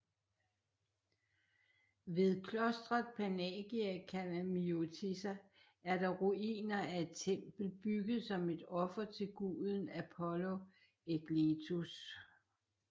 Ved klostret Panagia Kalamiotissa er der ruiner af et tempel bygget som et offer til guden Apollo Aegletus